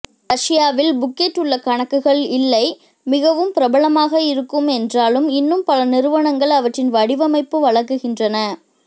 ரஷ்யாவில் புக்கெட் உள்ள கணக்குகள் இல்லை மிகவும் பிரபலமாக இருக்கும் என்றாலும் இன்னும் பல நிறுவனங்கள் அவற்றின் வடிவமைப்பு வழங்குகின்றன